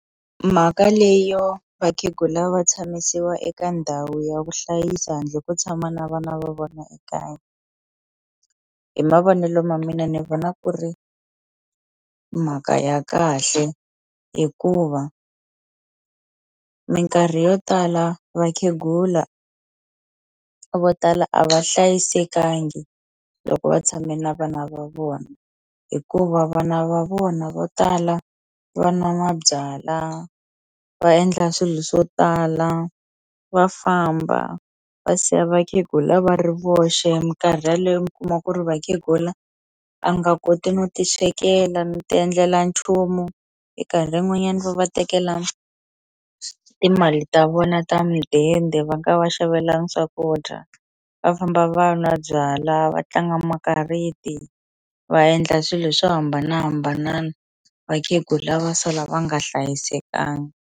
Mhaka leyo vakhegula vo tshamisiwa eka ndhawu ya ku hlayisa handle ko tshama na vana va vona ekaya hi mavonelo ma mina ni vona ku ri mhaka ya kahle hikuva minkarhi yo tala vakhegula vo tala a va hlayisekangi loko va tshame na vana va vona hikuva vana va vona vo tala va nwa mabyala va endla swilo swo tala va famba va siya vakhegula va ri voxe minkarhi yaleyo mi kuma ku ri vakhegula a nga koti no ti swekela no ti endlela nchumu minkarhi yin'wanyani va va tekela timali ta vona ta midende va nga va xavelangi swakudya va famba va nwa byala vatlanga makariti va endla swilo swo hambanahambanana vakhegula va sala va nga hlayisekanga.